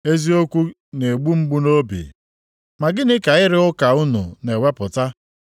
Eziokwu na-egbu mgbu nʼobi! Ma gịnị ka ịrụ ụka unu na-ewepụta?